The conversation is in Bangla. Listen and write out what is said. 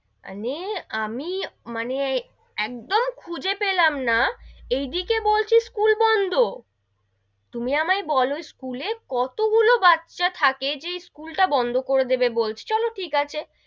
মানে মাই মানে, একদম খুঁজে পেলাম না, এদিকে বলছে school বন্ধ তুমি আমায় বোলো school এ কত গুলো বাচ্চা থাকে যে, school টা বন্ধ করে দেবে বলছে, চলো ঠিক আছে,